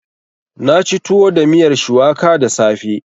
Na ci tuwo da miyar shuwaka da safe.